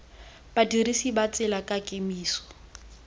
badirisi ba tsela ka kemiso